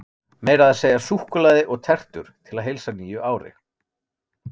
Meira að segja súkkulaði og tertur til að heilsa nýju ári.